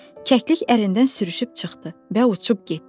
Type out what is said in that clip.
Kəklik ərindən sürüşüb çıxdı və uçub getdi.